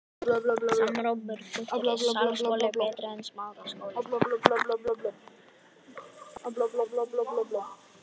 Kristinn Hrafnsson: Þú ert klár á að áfrýja þessu?